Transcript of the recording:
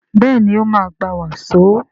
Béèni o ma gbà waso.